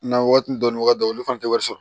Na waati dɔnniya dɔ olu fana tɛ wari sɔrɔ